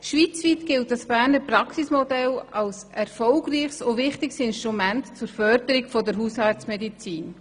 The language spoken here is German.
Schweizweit gilt das Berner Praxisassistenzmodell als erfolgreiches und wichtiges Instrument zur Förderung der Hausarztmedizin.